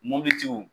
Mopitiw